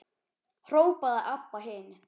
hrópaði Abba hin.